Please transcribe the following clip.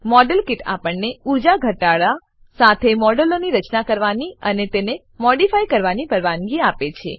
model kit આપણને ઉર્જા ઘટાડા સાથે મોડેલોની રચના કરવાની અને તેને મોડીફાય કરવાની પરવાનગી આપે છે